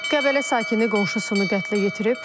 Qəbələ sakini qonşusunu qətlə yetirib.